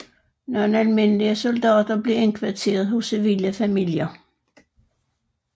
Nogle almindelige soldater blev indkvarteret hos civile familier